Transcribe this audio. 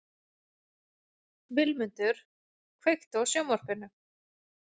Vilmundur, kveiktu á sjónvarpinu.